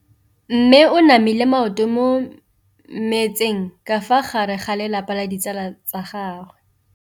Mme o namile maoto mo mmetseng ka fa gare ga lelapa le ditsala tsa gagwe.